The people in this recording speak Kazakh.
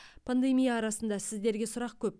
пандемия арасында сіздерге сұрақ көп